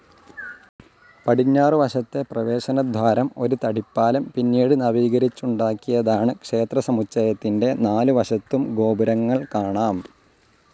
പടിഞ്ഞാറുവശത്തെ പ്രവേശനദ്വാരം ഒരു തടിപ്പാലം പിന്നീട് നവീകരിച്ചുണ്ടാക്കിയതാണ് ക്ഷേത്രസമുചയത്തിന്റെ നാലുവശത്തും ഗോപുരങ്ങൾ കാണാം.